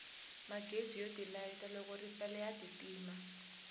magezi yo tilayita loko ripela ya ti tima